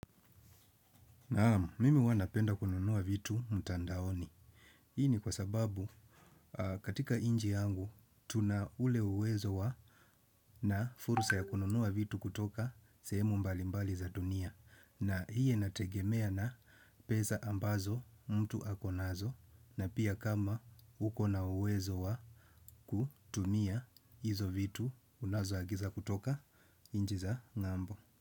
Naam, mimi hua napenda kununua vitu mtandaoni. Hii ni kwa sababu katika nchi yangu, tuna ule uwezo wa na furusa ya kununua vitu kutoka sehemu mbali mbali za dunia. Na hii inategemea na pesa ambazo mtu akonazo na pia kama uko na uwezo wa kutumia hizo vitu unazo agiza kutoka nchi za ng'ambo.